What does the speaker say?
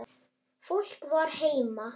Fólk var heima.